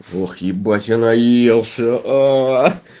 ох ебать я наелся аа